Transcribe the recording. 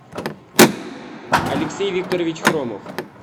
алексей викторович хромов